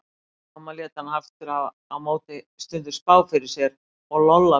Mamma lét hana aftur á móti stundum spá fyrir sér og Lolla mjög oft.